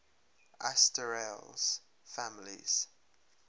asterales families